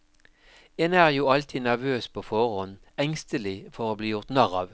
En er jo alltid nervøs på forhånd, engstelig for å bli gjort narr av.